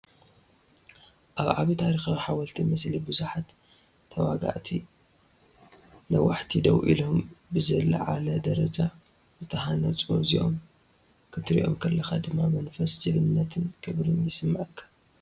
ኣብ ዓቢይ ታሪኻዊ ሓወልቲ፣ ምስሊ ብዙሓት ተዋጋእቲ ነዋሕቲ ደው ኢሎም፡ ብዝለዓለ ደረጃ ዝተሃንጹ፡ እዚኦም ክትሪ ከለኻ ድማ መንፈስ ጅግንነትን ክብርን ይስመዓካ።